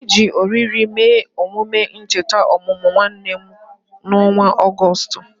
Anyị ji oriri mee emume ncheta ọmụmụ nwanne m n'ọnwa Ọgọst